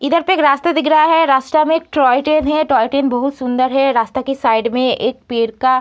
इधर पे एक रास्ता दिख रहा है रास्ता में एक टॉय ट्रेन है टॉय ट्रेन बहुत सुंदर है रास्ता के साइड में एक पेड़ का --